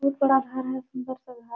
बहुत बड़ा घर है सुंदर सा घर--